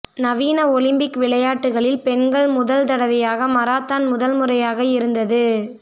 நவீன ஒலிம்பிக் விளையாட்டுகளில் பெண்கள் முதல் தடவையாக மராத்தான் முதல் முறையாக இருந்தது